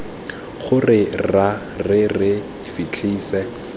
gore ra re re fitlhetse